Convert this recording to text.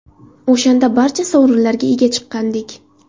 O‘shanda barcha sovrinlarga ega chiqqandik.